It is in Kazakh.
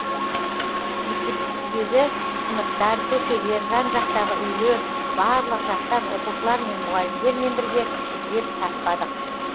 мектептегі сыныптар көшелер жан жақтағы үйлер барлық жақтан оқушылар мен мұғалімдермен бірге іздеп таппадық